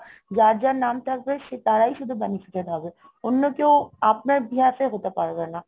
যার যার নাম থাকবে তারাই শুধু সে~ benefited হবে অন্য কেউ আপনার behalf ও হতে পারবে না.